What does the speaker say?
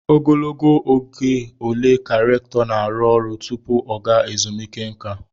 Ogologo oge ole ka rèktọ na-arụ ọrụ tupu oge ezumike nká?